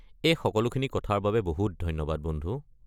এই সকলোখিনি কথাৰ বাবে বহুত ধন্যবাদ বন্ধু।